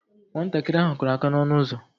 Nwatakịrị ahụ kụrụ aka ya n'ọnụ ụzọ